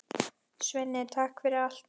Svenni, takk fyrir allt.